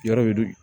Yɔrɔ dun